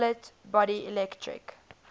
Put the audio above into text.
solid body electric